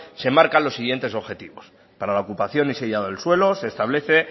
se enmarcan los siguientes objetivos para la ocupación y sellado del suelo se establece